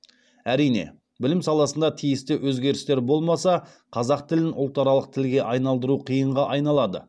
әрине білім саласында тиісті өзгерістер болмаса қазақ тілін ұлтаралық тілге айналдыру қиынға айналады